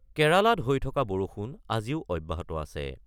কেৰালাত হৈ থকা বৰষুণ আজিও অব্যাহত আছে।